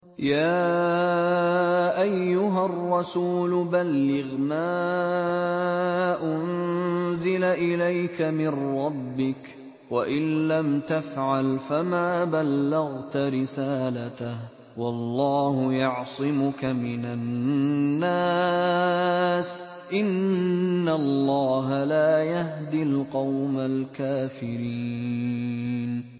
۞ يَا أَيُّهَا الرَّسُولُ بَلِّغْ مَا أُنزِلَ إِلَيْكَ مِن رَّبِّكَ ۖ وَإِن لَّمْ تَفْعَلْ فَمَا بَلَّغْتَ رِسَالَتَهُ ۚ وَاللَّهُ يَعْصِمُكَ مِنَ النَّاسِ ۗ إِنَّ اللَّهَ لَا يَهْدِي الْقَوْمَ الْكَافِرِينَ